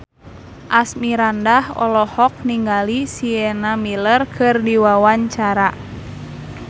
Asmirandah olohok ningali Sienna Miller keur diwawancara